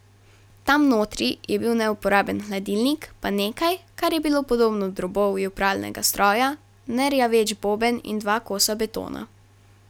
Tam notri je bil neuporaben hladilnik pa nekaj, kar je bilo podobno drobovju pralnega stroja, nerjaveč boben in dva kosa betona.